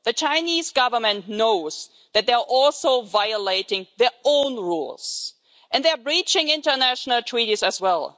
The Chinese Government knows that they are also violating their own rules, and they are breaching international treaties as well.